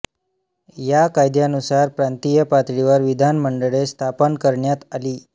या कायद्यानुसार प्रांतिय पातळीवर विधानमंडळे स्थापन करण्यात आली